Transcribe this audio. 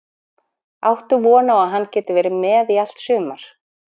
Áttu von á að hann geti verið með í allt sumar?